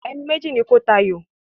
Ẹni méjì ni kó ta àyò!